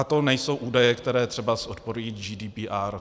A to nejsou údaje, které třeba odporují GDPR.